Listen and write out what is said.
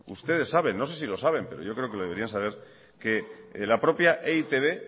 ustedes saben no sé si lo saben pero yo creo que lo deberían saber que la propia e i te be